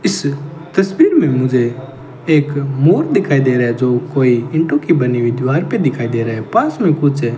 इस तस्वीर में मुझे एक मोर दिखाई दे रहा है जो कोई ईंटों की बनी हुई दीवार पे दिखाई दे रहा है पास में कुछ--